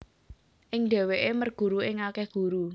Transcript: Ing dheweke merguru ing akeh guru